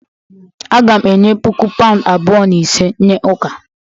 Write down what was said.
Aga m enye puku pound abụọ na ise nye ụka